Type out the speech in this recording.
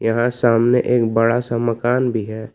यहां सामने एक बड़ा सा मकान भी है।